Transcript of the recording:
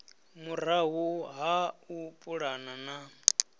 murahu ha u pulana na